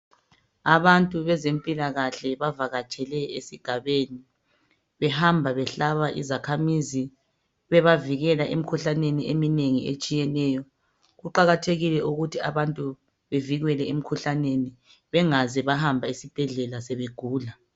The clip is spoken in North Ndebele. Abantu bezempilakahle bavakatshele esigabeni behamba bebahlaba izakhamizi bebavikela emikhuhlaneni eminengi etshiyeneyo. Kuqakathekile ukuthi bantu bevikelwe emikhuhlaneni bengaze bahambe esibhedlela sebegula.